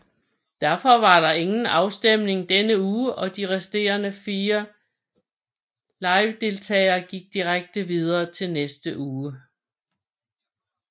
Derfor var der ingen afstemning denne uge og de resterende 4 livedeltagere gik direkte videre til næste uge